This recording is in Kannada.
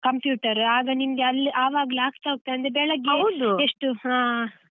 Computer ಆಗ ನಿಂಗೆ ಅಲ್ಲ್ ಆವಾಗ ಆಗ್ತಹೋಗ್ತದೆ .